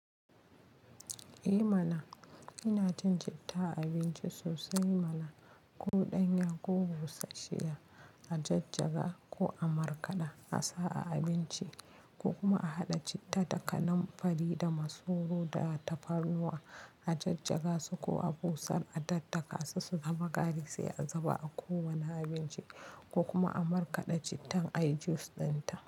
Eh mana ina cin citta a abinci sosai mana. Ko ɗanya ko busashshiya, a jajjaga ko a markaɗa, a sa a abinci ko kuma a haɗa citta da kananfari da masoro da tafarnuwa a jajjaga su ko a busar a daddaka su su zama gari sai a zuba a kowane abinci ko kuma a markaɗa cittan a yi juice ɗinta.